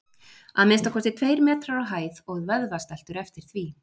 Að minnsta kosti tveir metrar á hæð og vöðvastæltur eftir því.